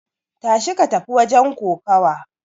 Tashi ka tafi wajen kokawa!